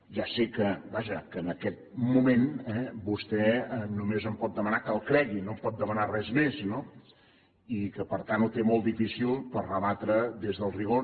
ja sé que vaja en aquest moment vostè només em pot demanar que el cregui no em pot demanar res més no i que per tant ho té molt difícil per rebatre ho des del rigor